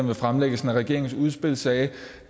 ved fremlæggelsen af regeringens udspil sagde